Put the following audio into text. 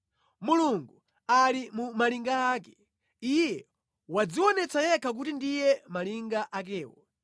Mulungu ali mu malinga ake; Iye wadzionetsa yekha kuti ndiye malinga akewo.